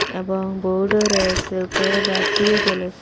এবং বোর্ডও রয়েসে উপরে বাতিও জ্বলে--